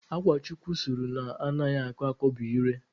Akwa chukwu sụrụ na anaghị akọ akọ bụ Ire.